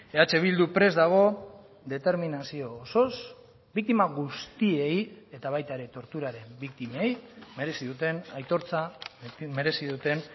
eh bildu prest dago determinazio osoz biktima guztiei eta baita ere torturaren biktimei merezi duten aitortza merezi duten